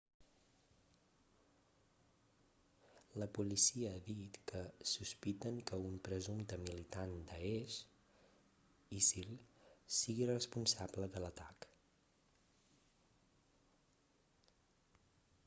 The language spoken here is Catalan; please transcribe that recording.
la policia ha dit que sospiten que un presumpte militant de daesh isil sigui responsable de l'atac